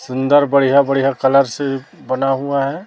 सुंदर बढ़िया बढ़िया कलर से बना हुआ है।